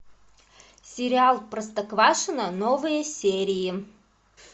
сериал простоквашино новые серии